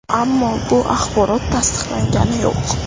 Ammo bu axborot tasdiqlangani yo‘q.